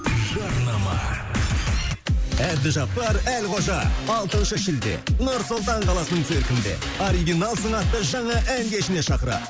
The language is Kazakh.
жарнама әбдіжаппар әлқожа алтыншы шілде нұр сұлтан қаласының циркінде оригиналсың атты жаңа ән кешіне шақырады